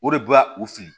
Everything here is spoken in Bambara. O de bɔra u fili